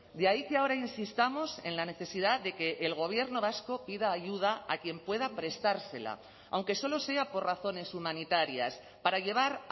de ahí que ahora insistamos en la necesidad de que el gobierno vasco pida ayuda a quien pueda prestársela aunque solo sea por razones humanitarias para llevar